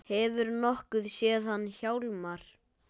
Hefurðu nokkuð séð hann Hjálmar